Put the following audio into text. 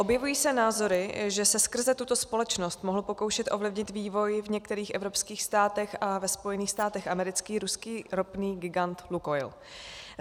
Objevují se názory, že se skrze tuto společnost mohl pokoušet ovlivnit vývoj v některých evropských státech a ve Spojených státech amerických ruský ropný gigant Lukoil.